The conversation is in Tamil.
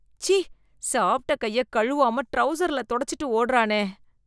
ச்சீ, சாப்பிட்ட கைய கழுவாம ட்ரவுசர்ல தொடச்சிட்டு ஓடுறானே.